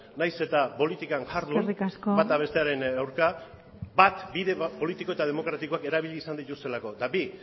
nahiz eta politikan jardun bata bestearen aurka eskerrik asko bat bide politiko eta demokratagoa erabili izan dituztelako eta bi